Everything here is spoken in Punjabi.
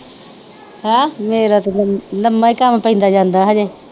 ਮੇਰਾ ਤੇ ਲਮ ਲੰਮਾ ਈ ਕੰਮ ਪੈਂਦਾ ਜਾਂਦਾ ਹਜੇ।